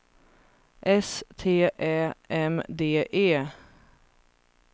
S T Ä M D E